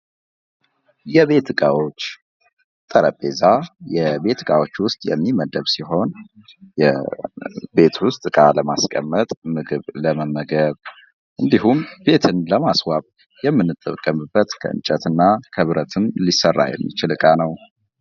የቤት እቃወች ጠረጴዛ የቤት እቃዋች ውስጥ የሚመደብ ሲሆን ቤት ውስጥ እቃ ለማስቀመጥ ምግብ፣ ለመመገብ እንዲሁም ቤትን ለማስዋብ የምንጠቀመበት ከእንጨትና ከብረትም ሊሰራ የሚችል እቃ ነው፡፡